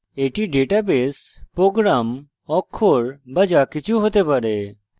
এটি database program অক্ষর be যাকিছু হতে পারে